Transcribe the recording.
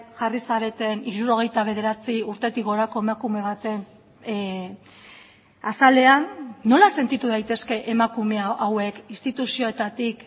jarri zareten hirurogeita bederatzi urtetik gorako emakume baten azalean nola sentitu daitezke emakume hauek instituzioetatik